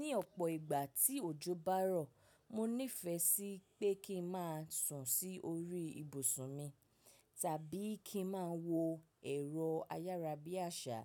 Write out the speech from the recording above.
Ní ọ̀pọ̀ ìgbà tí òjò bá rọ̀, mo nífẹ̀ẹ́ sí pé kí n má sùn sí orí ibùsùn mi, tàbí kí n má a wo ẹ̀rọ ayára bí àṣá,